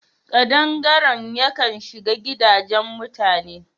Ƙadangaren yakan shiga gadaje mutane..